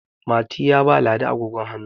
Mati ya ba ladi agogon hannu